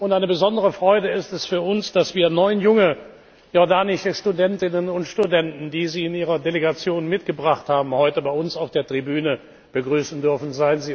Eine besondere Freude ist es für uns, dass wir neun junge jordanische Studentinnen und Studenten, die Sie in Ihrer Delegation mitgebracht haben, heute bei uns auf der Tribüne begrüßen dürfen.